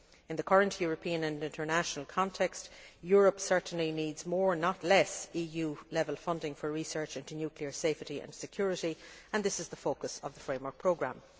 In the current European and international context, Europe certainly needs more, not less, EU level funding for research into nuclear safety and security, and this is the focus of the Framework Programme.